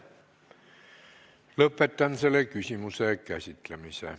Lõpetan selle küsimuse käsitlemise.